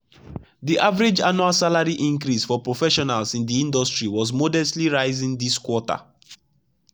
the average annual salary increase for professionals in the industry was modestly rising this quarter.